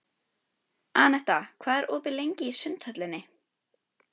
Anetta, hvað er opið lengi í Sundhöllinni?